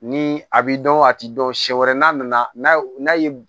Ni a bɛ dɔn a tɛ dɔn siɲɛ wɛrɛ n'a nana n'a ye